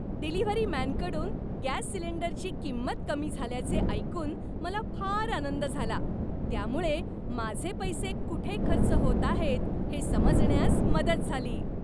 Delivery मॅनकडून gas सिलिंडरची किंमत कमी झाल्याचे ऐकून मला फार आनंद झाला. त्यामुळे माझे पैसे कुठे खर्च होत आहेत हे समजण्यास मदत झाली.